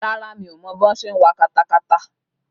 Rárá, mi ò mọ bí wọ́n ṣe ń wa katakata